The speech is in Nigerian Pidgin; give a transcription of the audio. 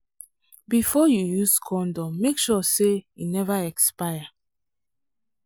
before you use condom make sure say e never expire. um